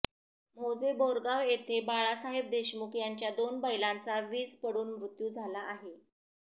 मौजे बोरगाव येथे बाळासाहेब देशमुख यांच्या दोन बैलांचा वीज पडून मृत्यू झाला आहे